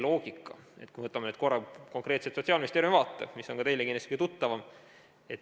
Võtame nüüd korra konkreetselt Sotsiaalministeeriumi vaate, mis on ka teile kindlasti kõige tuttavam.